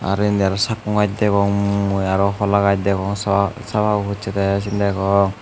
aro indi aro sakkon gajch degong mui aro hola gajch degong sababo pocchede siyan degong.